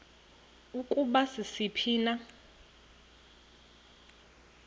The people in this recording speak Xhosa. ukuba sisiphi na